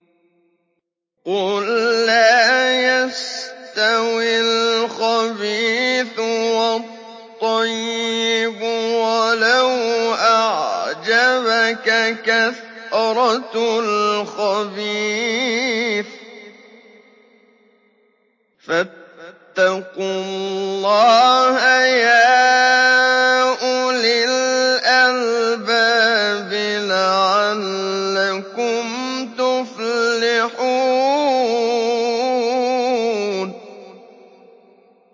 قُل لَّا يَسْتَوِي الْخَبِيثُ وَالطَّيِّبُ وَلَوْ أَعْجَبَكَ كَثْرَةُ الْخَبِيثِ ۚ فَاتَّقُوا اللَّهَ يَا أُولِي الْأَلْبَابِ لَعَلَّكُمْ تُفْلِحُونَ